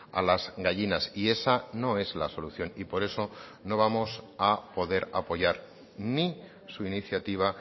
a las gallinas y esa no es la solución y por eso no vamos a poder apoyar ni su iniciativa